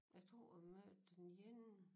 Jeg tror jeg mødte den ene